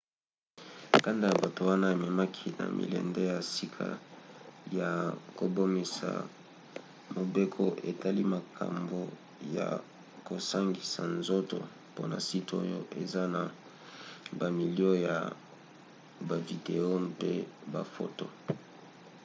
kanda ya bato wana ememaki na milende ya sika ya kobimisa mobeko etali makambo ya kosangisa nzoto mpona site oyo eza na bamilo ya bavideo mpe bafoto